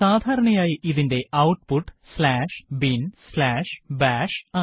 സാധാരണയായി ഇതിന്റെ output binbash ആണ്